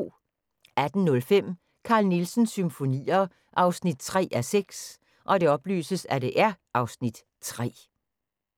18:05: Carl Nielsens Symfonier 3:6 (Afs. 3)